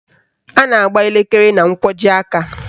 A na-agba elekere na nkwọji aka